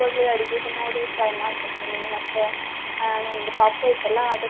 ಅಲ್ಲಿ ಅಡಿಗೆದು ನೋಡಿ try ಮಾಡ್ತಿರ್ತೀನಿ ಮತ್ತೆ ಆ ನಂದ್ ಪಾಪು ಇತ್ತಲ್ಲ.